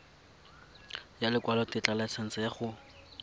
ya lekwalotetla laesense ya go